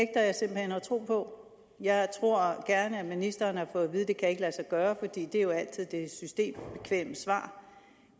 tro på jeg tror gerne at ministeren har fået at vide det kan lade sig gøre for det er jo altid det systembekvemme svar